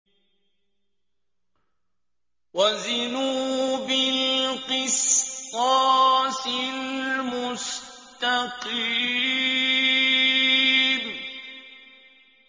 وَزِنُوا بِالْقِسْطَاسِ الْمُسْتَقِيمِ